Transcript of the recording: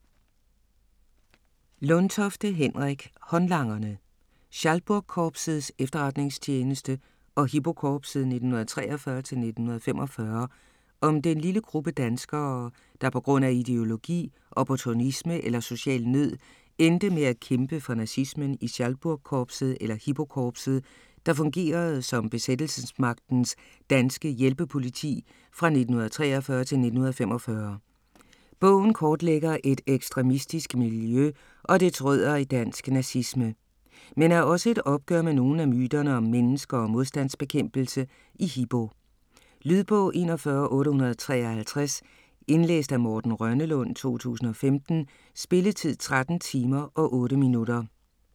Lundtofte, Henrik: Håndlangerne: Schalburgkorpsets Efterretningstjeneste og Hipokorpset 1943-1945 Om den lille gruppe danskere, der på grund af ideologi, opportunisme eller social nød endte med at kæmpe for nazismen i Schalburgkorpset eller Hipokorpset, der fungerede som besættelsesmagtens danske hjælpepoliti fra 1943 til 1945. Bogen kortlægger et ekstremistisk miljø og dets rødder i dansk nazisme. Men er også et opgør med nogle af myterne om mennesker og modstandsbekæmpelse i Hipo. Lydbog 41853 Indlæst af Morten Rønnelund, 2015. Spilletid: 13 timer, 8 minutter.